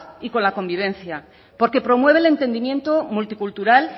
y con la convivencia porque promueve el entendimiento multicultural